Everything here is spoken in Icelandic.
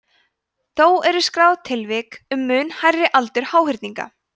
þó eru skráð tilvik um mun hærri aldur háhyrninga